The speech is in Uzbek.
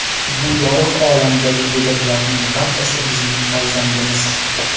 Bu yorug‘ olamdagi go‘daklarning barchasi bizning farzandimiz.